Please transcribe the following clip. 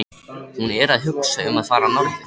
Hún er að hugsa um að fara norður.